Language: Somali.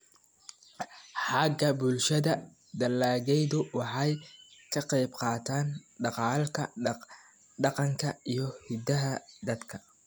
Xagga bulshada, dalagyadu waxay ka qaybqaataan dhaqanka iyo hiddaha dadka.